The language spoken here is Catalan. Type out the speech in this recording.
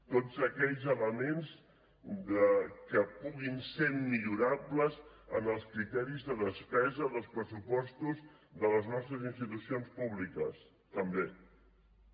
tots aquells elements que puguin ser millorables en els criteris de despesa dels pressupostos de les nostres institucions públiques també també